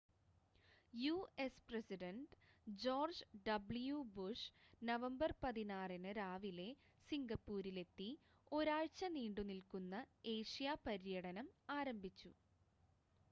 US president George W Bush November 16 ന് രാവിലെ സിംഗപ്പൂരിലെത്തി ഒരാഴ്ച നീണ്ടുനിൽക്കുന്ന ഏഷ്യ പര്യടനം ആരംഭിച്ചു